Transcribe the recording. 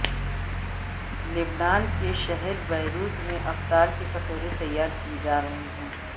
لبنان کے شہر بیروت میں افطار کے کٹورے تیار کیے جا رہے ہیں